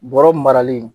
Bɔrɔ marali